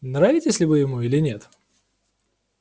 нравитесь ли вы ему или нет